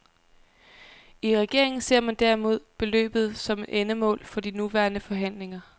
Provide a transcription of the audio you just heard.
I regeringen ser man derimod beløbet som et endemål for de nuværende forhandlinger.